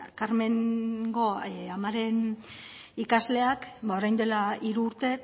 karmengo amaren ikasleak ba orain dela hiru urte